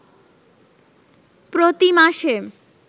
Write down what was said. প্রতি মাসে